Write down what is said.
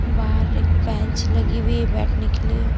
बाहर एक बेंच लगी हुई है बैठने के लिए--